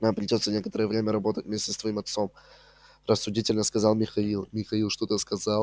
нам придётся некоторое время работать вместе с твоим отцом рассудительно сказал михаил михаил что-то сказала